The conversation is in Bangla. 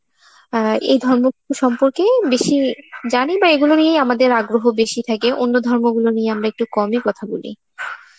অ্যাঁ এই ধর্ম গুলো সম্পর্কে বেশি জানি বা এইগুলো নিয়েই আমাদের আগ্রহ বেশি থাকে, অন্য ধর্মগুলো নিয়ে আমরা একটু কমই কথা বলি.